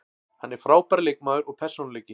Hann er frábær leikmaður og persónuleiki.